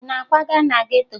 Ị na-akwaga na geto?